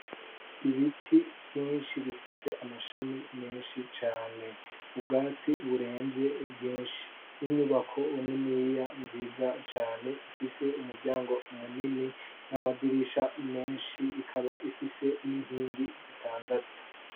ibiti vyinshi bifise amashami menshi cane ubwatsi buremvye bwinshi n'inyubako niniya nziza cane ifise umuryango munini n'amadirisha menshi ikaba ifise n'inkingi zitandatu